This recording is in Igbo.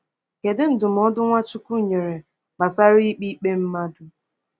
Kedu ndụmọdụ Nwachukwu nyere gbasara ikpe ikpe mmadụ?